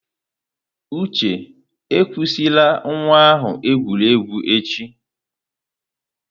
Uche, ekwusila nwa ahụ egwuregwu echi!